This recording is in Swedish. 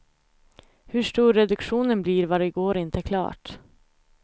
Hur stor reduktionen blir var igår inte klart.